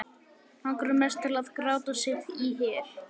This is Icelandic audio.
Langar mest til að gráta sig í hel.